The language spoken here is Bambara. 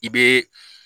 I bɛ